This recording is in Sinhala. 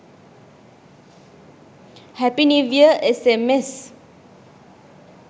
happy new year sms